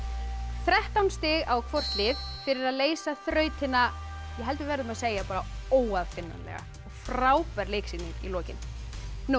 þrettán stig á hvort lið fyrir að leysa þrautina ég held við verðum að segja óaðfinnanlega frábær leiksýning í lokin nú